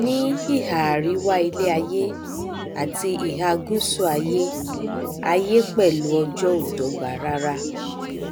ní ihà àríwá iléaiyé àti ihà gùsù aiyé aiyé pẹlú ọjọ ò dọgba rara